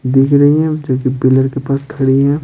दिख रही है जो कि पिलर के पास खड़ी है।